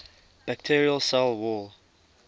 bacterial cell wall